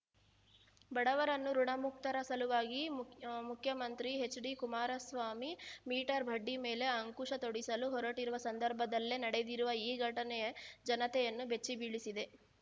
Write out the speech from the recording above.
ಬಡವರನ್ನು ಋುಣಮುಕ್ತರ ಸಲುವಾಗಿ ಮುಖ್ಯಮಂತ್ರಿ ಎಚ್‌ಡಿಕುಮಾರಸ್ವಾಮಿ ಮೀಟರ್‌ ಬಡ್ಡಿ ಮೇಲೆ ಅಂಕುಶ ತೊಡಿಸಲು ಹೊರಟಿರುವ ಸಂದರ್ಭದಲ್ಲೇ ನಡೆದಿರುವ ಈ ಘಟನೆ ಜನತೆಯನ್ನು ಬೆಚ್ಚಿಬೀಳಿಸಿದೆ